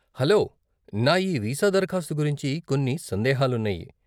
Hello, నా ఈ visa దరఖాస్తు గురించి కొన్ని సందేహాలున్నాయి.